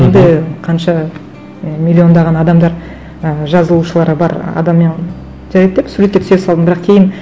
енді қанша і миллиондаған адамдар ы жазылушылары бар адаммен жарайды деп суретке түсе салдым бірақ кейін